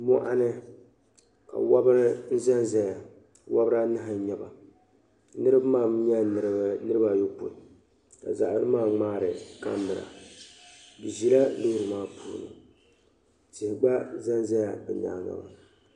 mɔɣuni ka wabiri n zan zaya wabiri anahi n nyɛba niriba mi nyɛla niriba ayɔpoin ka zaɣi yino ŋmaari kamara bɛ ʒila loori maa puuni tihi gba zan zala bɛ nyaaga